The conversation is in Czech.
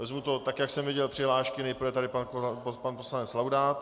Vezmu to tak, jak jsem viděl přihlášky, nejprve tady pan poslanec Laudát.